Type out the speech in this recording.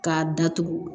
K'a datugu